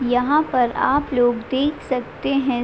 यहाँ पर आपलोग देख सकते है --